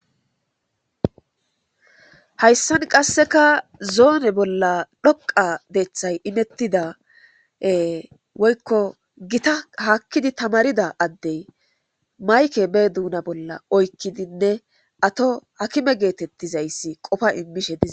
Hayissan qasekka zoone bolla dhoqa deththay imetida woyikko haki tamarida adey ba duna bolla mayikke woththid qofa imishshe des